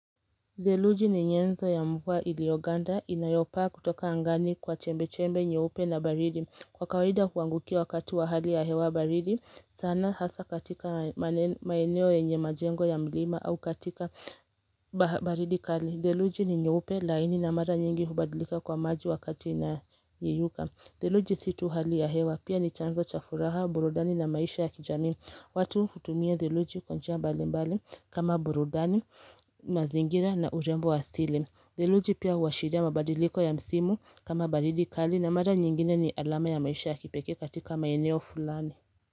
Theluji ni nyenzo ya mvua ilioganda inayopaa kutoka angani kwa chembe-chembe nyeupe na baridi Kwa kawaida huangukia wakati wa hali ya hewa baridi sana hasa katika maeneo yenye majengo ya mlima au katika baridi kali Theluji ni nyeupe laini na mara nyingi hubadlika kuwa maji wakati inayeyuka Theluji si tu hali ya hewa pia ni chanzo cha furaha, burudani na maisha ya kijamii watu hutumia theluji kwa njia mbali mbali kama burudani na zingine na urembo wa asili. Theluji pia huwashiria mabadiliko ya msimu kama baridi kali na mara nyingine ni alama ya maisha ya kipekee katika maeneo fulani.